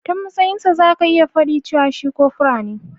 Ta matsayin sa zaka iya fadi cewa shi kopura ne.